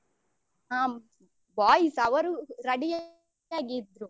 ಹ್ಮ್ boys ಅವರು ready ಯಾಗಿದ್ರು.